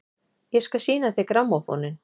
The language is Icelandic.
Ég skal sýna þér grammófóninn!